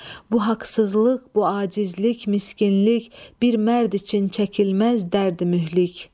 Bu haqsızlıq, bu acizlik, miskinlik bir mərd üçün çəkilməz dərdi mühlik.